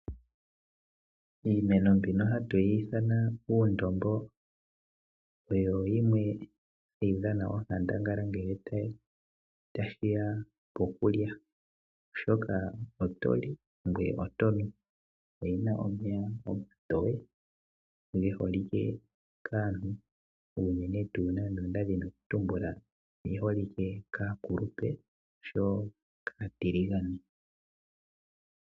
Iimeno mbino hatuyi ithanwa uundombo oyo yimwe hayi dhana onkandangala ngele tashiya pokulya , oshoka oto li ngoye oto nu. Oyina omeya omatoye ge holike kaantu unene tuu nando onda dhini oku tumbuka oge holike kaakulupe oshowo kaatiligane.